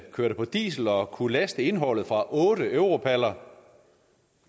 kørte på diesel og kunne laste indholdet fra otte europaller